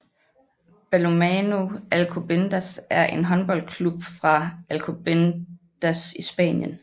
Balonmano Alcobendas er en håndboldklub fra Alcobendas i Spanien